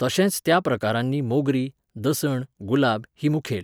तशेंच त्या प्रकारांनी मोगरीं, दसण, गुलाब हीं मुखेल.